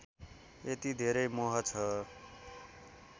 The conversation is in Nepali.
यति धेरै मोह छ